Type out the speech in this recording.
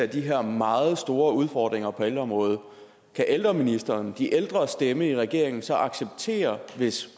de her meget store udfordringer på ældreområdet kan ældreministeren de ældres stemme i regeringen så acceptere det hvis